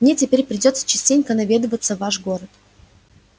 мне теперь придётся частенько наведываться в ваш город